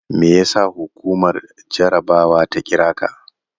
Me yasa hukumar jarabawa ta kira ka?